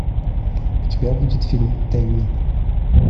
у тебя будет фильм тэмми